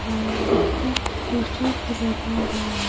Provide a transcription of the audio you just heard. लिखा पोस्टर भी लगा हुआ है।